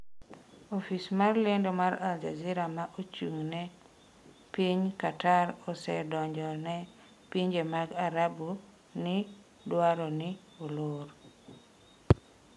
Ofis mar lendo mar Al Jazeera ma ochung'ne piny Qatar osedonjo pinje mag Arabu ni dwaro ni olor.